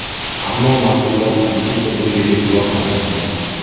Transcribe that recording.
Ammo mas’ullar haligacha bunga e’tibor qaratmagan.